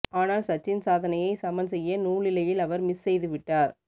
ஆனால் சச்சின் சாதனையை சமன் செய்ய நூலிழையில் அவர் மிஸ் செய்துவிட்டார்